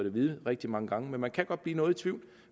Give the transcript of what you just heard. at vide rigtig mange gange men man kan godt blive noget i tvivl